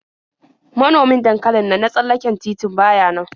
Manomin dankalin nan na tsallaken titi ba ya nan.